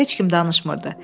Heç kim danışmırdı.